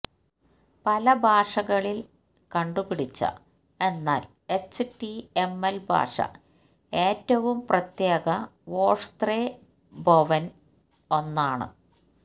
പല ഭാഷകളിൽ കണ്ടുപിടിച്ച എന്നാൽ എച്ച്ടിഎംഎൽ ഭാഷ ഏറ്റവും പ്രത്യേക വൊഷ്ത്രെബൊവന് ഒന്നാണ്